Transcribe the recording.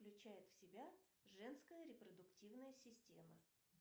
включает в себя женская репродуктивная система